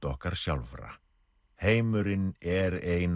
okkar sjálfra heimurinn er ein